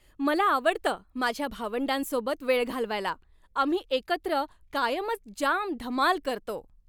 मला आवडतं माझ्या भावंडांसोबत वेळ घालवायला. आम्ही एकत्र कायमच जाम धमाल करतो.